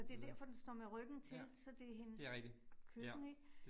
Det derfor den står med ryggen til, så det hendes køkken ik